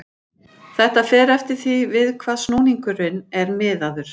Þetta fer eftir því við hvað snúningurinn er miðaður.